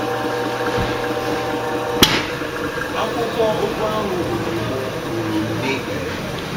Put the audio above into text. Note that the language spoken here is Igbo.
akwụkwọ ụgụ ahụ ruru m ruru m n'ikpere.